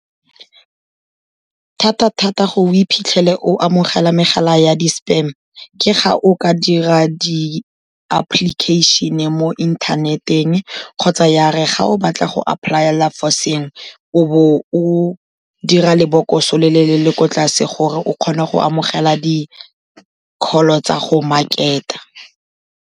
Thata-thata gore o iphitlhele o amogela megala ya di-spam-e, ke ga o ka dira di-application-e mo inthaneteng kgotsa ya re ga o batla go apply-ela for sengwe, o be o dira lebokoso le le, le le ko tlase gore o kgone go amogela di-call-o tsa go market-a.